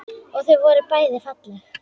Og þau voru bæði falleg.